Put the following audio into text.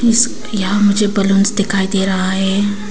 इस यहां मुझे बलूंस दिखाई दे रहा है।